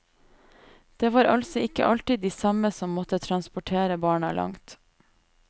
Det var altså ikke alltid de samme som måtte transportere barna langt.